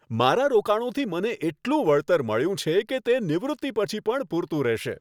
મારા રોકાણોથી મને એટલું વળતર મળ્યું છે કે તે નિવૃત્તિ પછી પણ પૂરતું રહેશે.